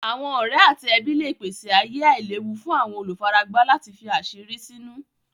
Àwọn ọ̀rẹ̀ àti ẹbí lẹ pèsè ayè àìlèwú fún àwọn olúfáràgbá láti fí àṣírí sínú.